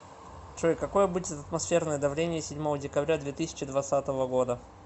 джой какое будет атмосферное давление седьмого декабря две тысячи двадцатого года